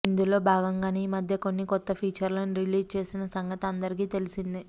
ఇందులో భాగంగానే ఈ మధ్య కొన్ని కొత్త ఫీచర్లను రిలీజ్ చేసిన సంగతి అందరికీ తెలిసిందే